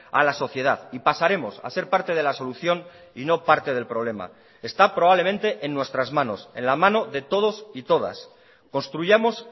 a la sociedad y pasaremos a ser parte de la solución y no parte del problema está probablemente en nuestras manos en la mano de todos y todas construyamos